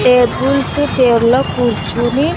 Tables chair లో కూర్చొని.